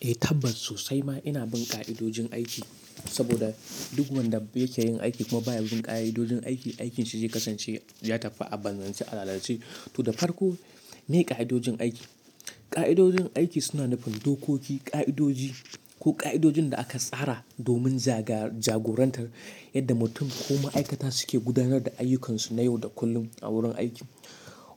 Eh, tabbas sosai ma ina bin ƙa'idojin aiki. Saboda duk wanda yake yin aiki kuma baya bin ƙa'idojin aiki, aikinsa zai kasance ya tafi abanzace, alalace. To, da farko miye ƙa'idojin aiki? Ƙa'idojin aiki suna nufin dokoki, ƙa'idoji ko ƙa'idojin da aka tsara domin jagorantar yadda mutum ko ma'aikata suke gudanar da ayyukansu na yau da kullum a wurin aiki.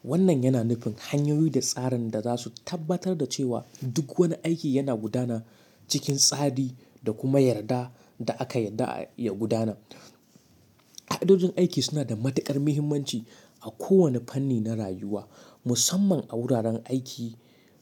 Wannan yana nufin hanyoyi da tsarin da za su tabbatar da cewa duk wani aiki yana gudana cikin tsari da kuma yarda da aka yarda ya gudana. Ƙa'idojin aiki suna da matuƙar muhimmanci a kowane fanni na rayuwa, musamman a wuraren aiki,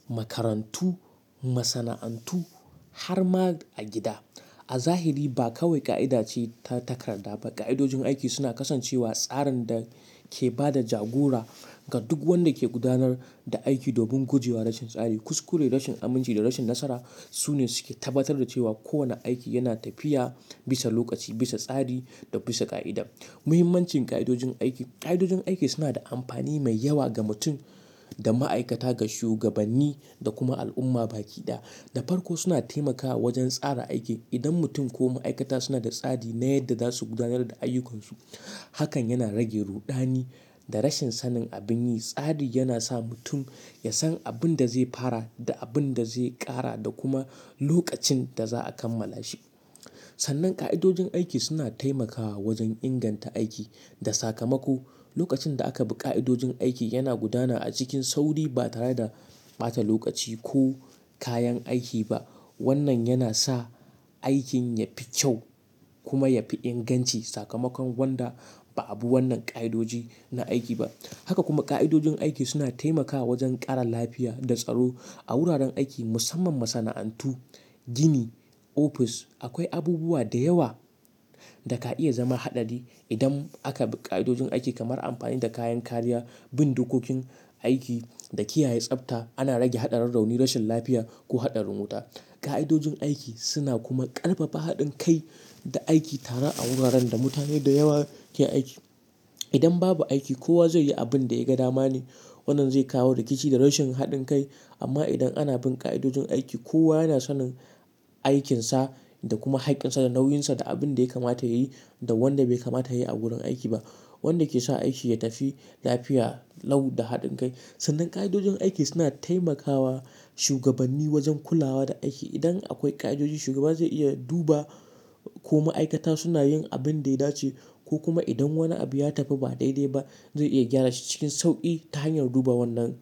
makarantu, masana'antu har ma a gida. A zahiri ba kawai ƙa'ida ce ta takarda ba, ƙa'idojin aiki suna kasancewa tsarin da ke ba da jagora ga duk wanda ke gudanar da aiki domin guje wa rashin tsari, kuskure, rashin aminci da rashin nasara. Su ne suke tabbatar da cewa kowane aiki yana tafiya bisa lokaci, bisa tsari da bisa ƙa'ida. Muhimmancin ƙa'idojin aiki. Ƙa'idojin aiki suna da amfani mai yawa ga mutum, ga ma'aikata, ga shugabanni da kuma al'umma baki ɗaya. Da farko suna taimakawa wajen tsara aiki. Idan mutum ko ma'aikata suna da tsari na yadda za su gudanar da ayyukansu, hakan yana rage ruɗani da rashin sanin abin yi. Tsari yana sa mutum ya san abin da zai fara da abin da zai ƙara da kuma lokacin da za'a kammala shi. Sannan ƙa'idojin aiki suna taimakawa wajen inganta aiki da sakamako. Lokacin da aka bi ƙa'idojin aiki, yana gudana a cikin sauri ba tare da ɓata lokaci ko kayan aiki ba. Wannan yana sa aikin yafi kyau kuma yafi inganci sakamakon wanda ba abu wannan ƙa'idoji na aiki ba. Haka kuma ƙa'idojin aiki suna taimakawa wajen ƙara lafiya da tsaro a wuraren aiki, musamman masana'antu, gini, ofis. Akwai abubuwa da yawa da ka iya zama haɗari idan aka bi ƙa'idojin aiki kamar amfani da kayan kariya, bin dokokin aiki da kiyaye tsafta. Ana rage haɗarin rauni, rashin lafiya ko haɗarin wuta. Ƙa'idojin aiki suna kuma ƙarfafa haɗin kai da aiki tare a wuraren da mutane da yawa ke aiki. Idan babu aiki, kowa zai yi abin da ya ga dama ne. Wannan zai kawo rikici da rashin haɗin kai. Amma idan ana bin ƙa'idojin aiki, kowa yana sanin aikinsa da kuma haƙƙinsa da nauyinsa da abin da ya kamata yayi da wanda bai kamata yayi a wurin aiki ba, wanda ke sa aiki ya tafi lafiya lau da haɗin kai. Sannan ƙa'idojin aiki suna taimakawa shugabanni wajen kulawa da aiki. Idan akwai ƙa'idoji, shugaba zai iya duba ko ma'aikata suna yin abin da ya dace ko kuma idan wani abu ya tafi ba daidai ba, zai iya gyara shi cikin sauƙi ta hanyar duba wannan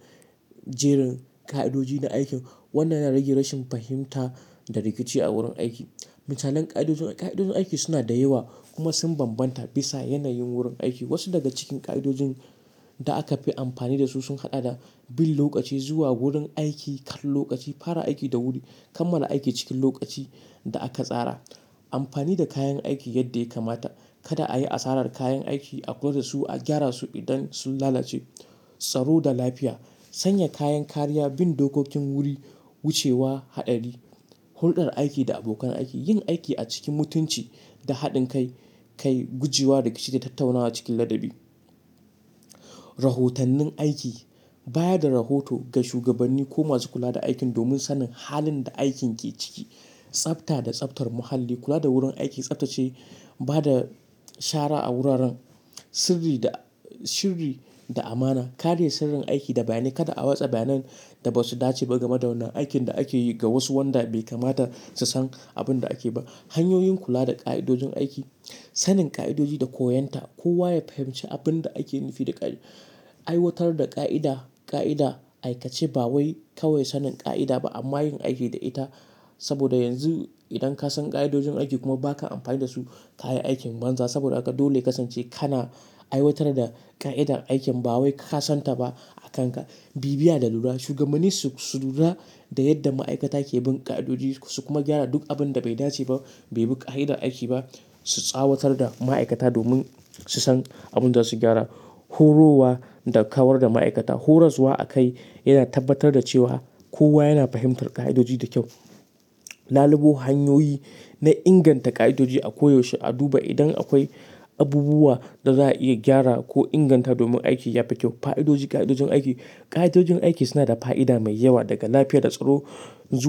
jerin ƙa'idoji na aikin. Wannan yana rage rashin fahimta da rikici a wurin aiki. Misalan ƙa'idojin-- ƙa'idojin aiki suna da yawa kuma sun bambanta bisa yanayin wurin aiki. Wasu daga cikin ƙa'idojin da aka fi amfani dasu sun haɗa da bin lokaci, zuwa wurin aiki kan lokaci, fara aiki da wuri, kammala aiki cikin lokaci da aka tsara, amfani da kayan aiki yadda ya kamata, kada a yi asarar kayan aiki, a kula da su, a gyara su idan sun lalace, tsaro da lafiya, sanya kayan kariya, bin dokokin wuri, wucewa haɗari, hulɗar aiki da abokan aiki, yin aiki a cikin mutunci da haɗin kai, guje wa daga shirya tattaunawa cikin ladabi. Rahotannin aiki, bayar da rahoto ga shugabanni ko masu kula da aikin domin sanin halin da aikin ke ciki. Tsafta da tsaftar muhalli, kula da wurin aiki, tsaftace, ba da shara a wuraren, sirri da-- sirri da amana, kare sirrin aiki da bayanai. Kada a watsa bayanai da ba su dace ba game da wannan aikin da ake yi ga wasu wanda bai kamata su san abin da ake ba. Hanyoyin kula da ƙa'idojin aiki, sanin ƙa'idoji da koyonta. Kowa ya fahimci abin da ake nufi da aiwatar da ƙa'ida, ƙa'ida aikace ba wai kawai sanin ƙa'ida ba amma yin aiki da ita. Saboda yanzu idan ka san ƙa'idojin aiki kuma ba ka amfani da su, ka yi aikin banza. Saboda haka dole ya kasance kana aiwatar da ƙa'idar aikin ba wai ka san ta ba a kanka. Bibiya da lura, shugabanni su, su lura da yadda ma'aikata ke bin ƙa'idojii su kuma gyara duk abin da bai dace ba, bai bi ƙa'idar aiki ba. Su tsawatar da ma'aikata domin su san abin da za su gyara. Horoswa da kawar da ma'aikata. Horaswa a kai yana tabbatar da cewa kowa yana fahimtar ƙa'idoji da kyau. Lalubo hanyoyi na inganta ƙa'idoji a koyaushe, a duba idan akwai abubuwa da za'a iya gyara ko inganta domin aiki yafi kyau. Fa'idoji, ƙa'idojin aiki. Ƙa'idojin aiki suna da fa'ida mai yawa daga lafiya da tsaro, zuwa.